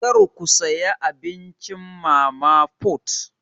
Kar ku saya abincin mama put!